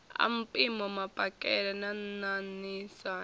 a mpimo mapakele na ṋaṋisana